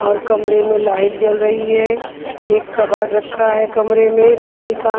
और कमरे में लाइट जल रही है एक कबाड़ रखा है कमरे में लकड़ी का--